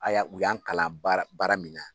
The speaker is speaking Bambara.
Haya u y'an kalan baara baara min na.